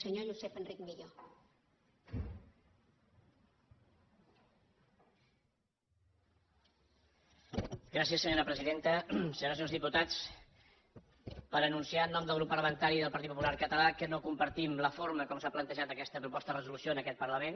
senyores i senyors diputats per anunciar en nom del grup parlamentari del partit popular català que no compartim la forma com s’ha plantejat aquesta proposta de resolució en aquest parlament